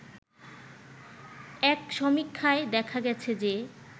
এক সমীক্ষায় দেখা গেছে যে